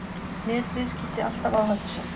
Netviðskipti alltaf áhættusöm